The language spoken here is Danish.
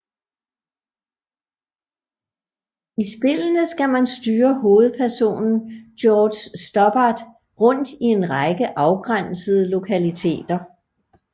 I spillene skal man styre hovedpersonen George Stobbart rundt i en række afgrænsede lokaliteter